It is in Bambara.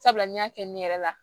Sabula n y'a kɛ ne yɛrɛ la